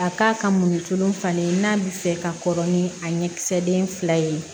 A k'a ka mɔnitun falen n'a bɛ fɛ ka kɔrɔ ni a ɲɛkisɛden fila ye